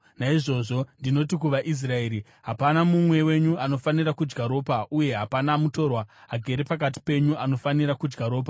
Naizvozvo ndinoti kuvaIsraeri, “Hapana mumwe wenyu anofanira kudya ropa, uye hapana mutorwa agere pakati penyu anofanira kudya ropa.”